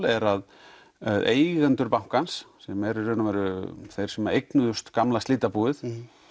er að eigendur bankans sem eru í rauninni þeir sem eignuðust gamla slitabúið